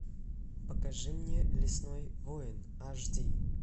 покажи мне лесной воин аш ди